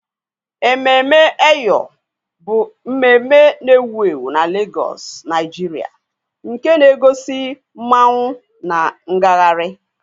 EmemeEyo bụ mmemme na-ewu ewu na Lagos, Nigeria, nke na-egosi masquerades na ngagharị.